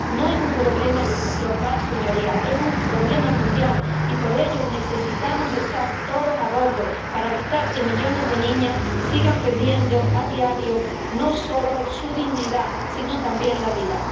No es un problema local, señorías, es un problema mundial, y por ello necesitamos estar todos a bordo para evitar que millones de niñas sigan perdiendo a diario no solo su dignidad, sino también la vida.